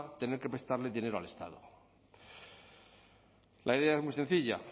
tener que prestarle dinero al estado la idea es muy sencilla